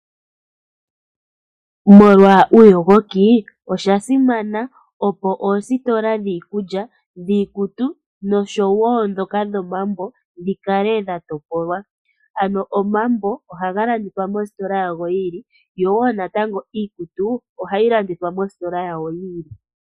Molwa uuyogoki osha simana, opo oositola dhiikulya, dhiikutu noshowo ndhoka dhomambo dhi kale dha topolwa. Ano omambo ohaga landithwa mositola yago yi ili yo wo iikutu ohayi landithwa mositola yawo yi ili.